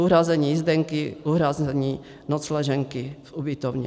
Uhrazení jízdenky, uhrazení nocleženky v ubytovně.